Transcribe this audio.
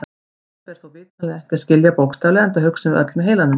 Þetta ber þó vitanlega ekki að skilja bókstaflega enda hugsum við öll með heilanum.